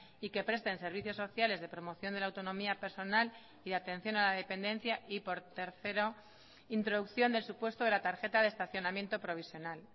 y que presten servicios sociales de promoción de la autonomía personal y atención a la dependencia y por tercero introducción del supuesto de la tarjeta de estacionamiento provisional